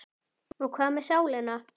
Og hvað með sálina?